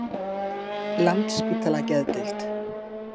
Landspítala Geðdeild